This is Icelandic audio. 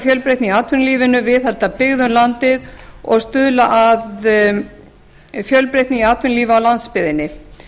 fjölbreytni í atvinnulífinu viðhalda byggð um landið og stuðla að fjölbreytni í atvinnulífi á landsbyggðinni